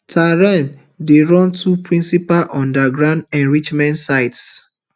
tehran dey run two principal underground enrichment sites